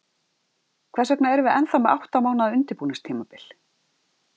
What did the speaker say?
Hvers vegna erum við ennþá með átta mánaða undirbúningstímabil?